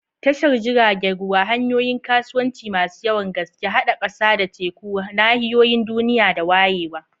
Tashar jiragen ruwa, hanyoyin kasuwanci masu yawan gaske, haɗa ƙasa da teku, nahiyoyin duniya da wayewa.